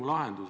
Aitäh!